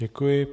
Děkuji.